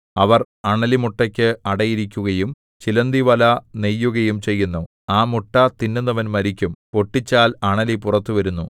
അവർ അണലിമുട്ടയ്ക്ക് അടയിരിക്കുകയും ചിലന്തിവല നെയ്യുകയും ചെയ്യുന്നു ആ മുട്ട തിന്നുന്നവൻ മരിക്കും പൊട്ടിച്ചാൽ അണലി പുറത്തുവരുന്നു